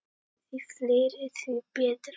Því fleiri, því betra.